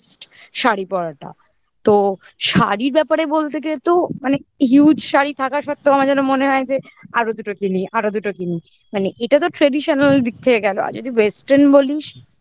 শাড়ি পরাটা তো শাড়ির ব্যাপারে বলতে গেলে তো মানে huge শাড়ি থাকা সত্ত্বেও আমার যেন মনে হয় যে আরো দুটো কিনি আরো দুটো কিনি মানে এটা তো traditional দিক থেকে গেলো আর যদি western বলিস